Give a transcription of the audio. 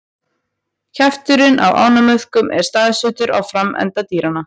Kjafturinn á ánamöðkum er staðsettur á framenda dýranna.